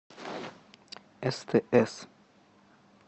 стс